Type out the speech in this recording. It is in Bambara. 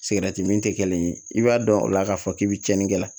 min tɛ kelen ye i b'a dɔn o la k'a fɔ k'i bɛ tiɲɛni kɛ